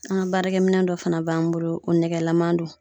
An ka baarakɛminɛn dɔ fana b'an bolo o nɛgɛlaman don.